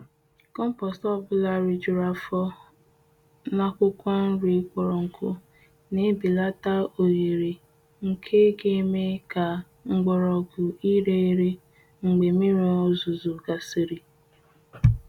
Kọmpost ọbụla ri juru afo n' akwukwo nri kpọrọ nku n'belata ohere nke ga eme ka mgbọrọgwụ ire ere mgbe mmiri ozuzo gasịrị.